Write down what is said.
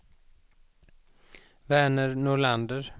Verner Nordlander